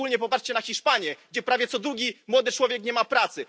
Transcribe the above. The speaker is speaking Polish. Szczególnie popatrzcie na Hiszpanię, gdzie prawie co drugi młody człowiek nie ma pracy.